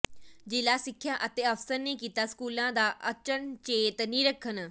ਜ਼ਿਲ੍ਹਾ ਸਿੱਖਿਆ ਅਫ਼ਸਰ ਨੇ ਕੀਤਾ ਸਕੂਲਾਂ ਦਾ ਅਚਨਚੇਤ ਨਿਰੀਖਣ